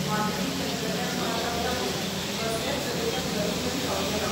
माहिती तंत्रज्ञान पार्काक लागून कसलेच तरेचे प्रदुशण जावचे ना.